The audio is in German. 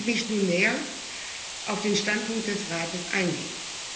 Lassen Sie mich nun näher auf den Standpunkt des Rates eingehen.